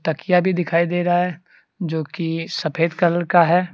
तकिया भी दिखाई दे रहा है जो की सफेद कलर का है।